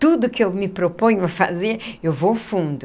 Tudo que eu me proponho a fazer, eu vou fundo.